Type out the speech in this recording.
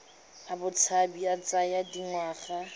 a botshabi a tsaya dingwaga